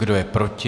Kdo je proti?